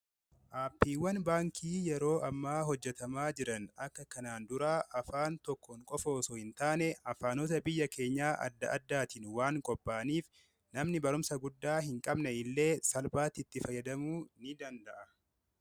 Aappiiwwan baankii yeroo ammaa hojjetamaa jiran akka kanaan duraa afaan tokkoon qofa osoo hin taane afaanota biyya keenya adda-addaatiin waan qopha'aniif namni barumsa guddaa hin qabne illee salphaatti itti fayyadamuu ni danda'a.